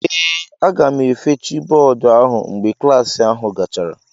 Ee, aga m efechi bọọdụ ahụ mgbe klas ahụ gachara.